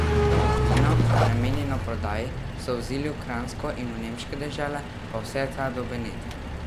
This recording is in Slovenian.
Vino, namenjeno prodaji, so vozili v Kranjsko in v nemške dežele pa vse tja do Benetk.